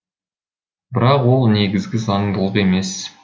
бірақ ол негізгі заңдылық емес